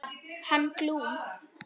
Hann Glúm.